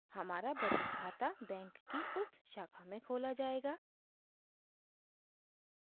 हमारा बचत खाता बैंक की उस शाखा में खोला जायेगा